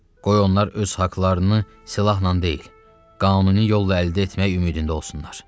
Qoy onlar öz haqlarını silahla deyil, qanuni yolla əldə etmək ümidində olsunlar.